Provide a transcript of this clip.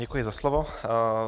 Děkuji za slovo.